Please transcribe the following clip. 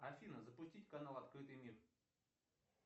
афина запустить канал открытый мир